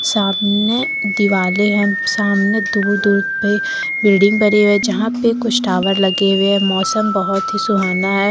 सामने दिवाले है सामने दूर- दूर पे बिल्डिंग बनी हुए जहां पे कुछ टावर लगे हुए मौसम बहोत ही सुहाना है।